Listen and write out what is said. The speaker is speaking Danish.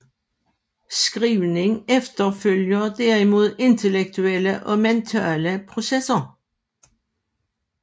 Skrivning efterfølger derimod intellektuelle og mentale processer